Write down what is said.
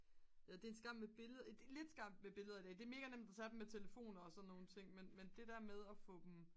det er en skam med billed lidt skam med billederne det er mega nemt at tage dem med telefoner og sådan nogle ting men det der med at få dem